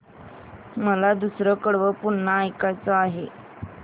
मला दुसरं कडवं पुन्हा ऐकायचं आहे